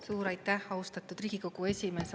Suur aitäh, austatud Riigikogu esimees!